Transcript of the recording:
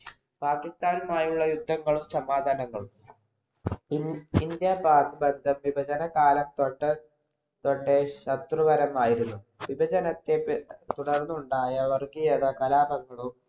പാകിസ്ഥാനുമായുള്ള യുദ്ധങ്ങളും, സമാധാനങ്ങളും. ഇന്ത്യപാക് വിഭജനകാലം തൊട്ട് കാലം തൊട്ടേ ശത്രുപരമായിരുന്നു. വിഭജ നത്തെതുടർന്നുണ്ടായ വർഗീയത കലാപങ്ങളും,